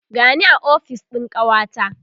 gani a ofis ɗin kawata